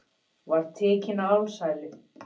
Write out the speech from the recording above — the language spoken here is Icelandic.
Var tekinn á alsælu